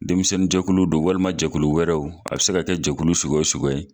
Denmisɛnninjɛkulu don walima jɛkulu wɛrɛw a bɛ se ka kɛ jɛkulu suguya o suguya ye